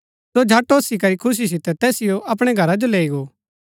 सो झट ओसी करी खुशी सितै तैसिओ अपणै घरा जो लैई गो